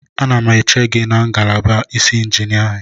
Anọ m n'isi ngalaba injiniarin eche gị.